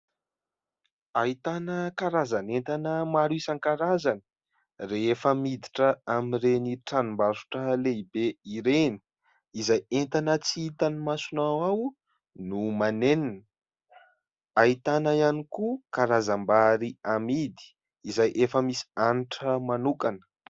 Ahitana karazan'entana maro isan-karazany rehefa miditra amin'ireny tranombarotra lehibe ireny, izay entana tsy hitan'ny masonao ao no manenina, ahitana ihany koa karazam-bary amidy izay efa misy hanitra manokana.